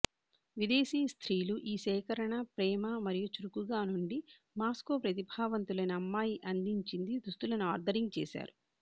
విదేశీ స్త్రీలు ఈ సేకరణ ప్రేమ మరియు చురుకుగా నుండి మాస్కో ప్రతిభావంతులైన అమ్మాయి అందించింది దుస్తులను ఆర్దరింగ్ చేశారు